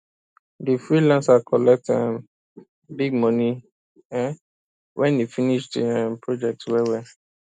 di freelancer collect um big money um wen e finish di um project well well